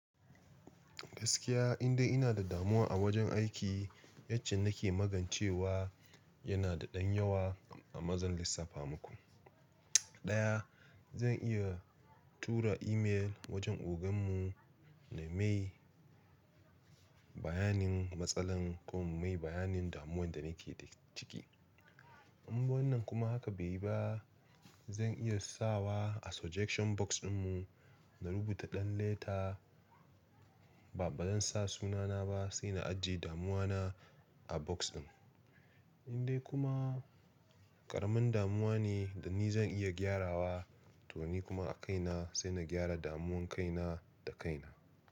Gaskiya indai ina da damuwa a wajen aiki yacce nake magancewa yana da ɗan yawa amma zan lissafa muku. Ɗaya zan iya tura email wajen ogan mu na mai bayanin matsalan ko in mai bayanin damuwan da nake da ciki. In wannan kuma haka bai yi ba zan iya sawa a suggestion box din mu na rubuta ɗan leta ba, ba zan sa sunana ba sai na ajiye damuwa na a box ɗin. Indai kuma ƙaramin damuwa ne da ni zan iya gyarawa to ni kuma a kaina sai na gyara damuwan kaina da kaina.